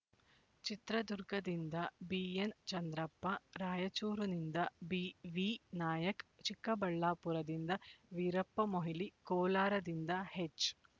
ಚಿತ್ರದುರ್ಗದಿಂದ ಬಿಎನ್ ಚಂದ್ರಪ್ಪ ರಾಯಚೂರುನಿಂದ ಬಿವಿ ನಾಯಕ್ ಚಿಕ್ಕಬಳ್ಳಾಪುರದಿಂದ ವೀರಪ್ಪಮೊಯ್ಲಿ ಕೋಲಾರದಿಂದ ಹೆಚ್